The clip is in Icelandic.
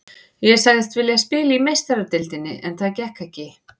Ég sagðist vilja spila í Meistaradeildinni en það gekk ekki.